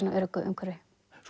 öruggu umhverfi